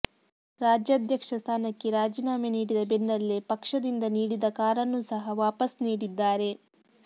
ರಾಜ್ಯಾಧ್ಯಕ್ಷ ಸ್ಥಾನಕ್ಕೆ ರಾಜೀನಾಮೆ ನೀಡಿದ ಬೆನ್ನಲ್ಲೇ ಪಕ್ಷದಿಂದ ನೀಡಿದ ಕಾರನ್ನೂ ಸಹ ವಾಪಸ್ ನೀಡಿದ್ದಾರೆ